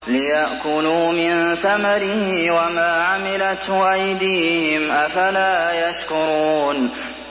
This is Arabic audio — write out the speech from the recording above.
لِيَأْكُلُوا مِن ثَمَرِهِ وَمَا عَمِلَتْهُ أَيْدِيهِمْ ۖ أَفَلَا يَشْكُرُونَ